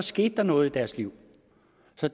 skete der noget i deres liv